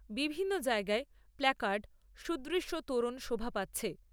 বিভিন্ন জায়গায় প্ল্যাকার্ড , সুদৃশ্য তোরণ শোভা পাচ্ছে।